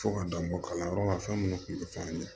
Fo ka dan bɔ kalanyɔrɔ la fɛn minnu tun tɛ f'an ye